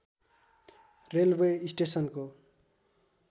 railway स्टेशनको